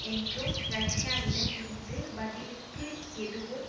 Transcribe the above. என்றும் ரஷ்யாவிடம் இருந்து பதிலுக்கு எதுவும்